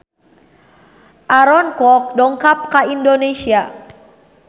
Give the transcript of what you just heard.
Aaron Kwok dongkap ka Indonesia